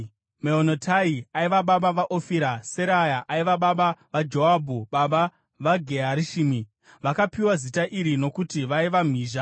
Meonotai aiva baba vaOfira. Seraya aiva baba vaJoabhu, baba vaGe Harashimi. Vakapiwa zita iri nokuti vaiva mhizha.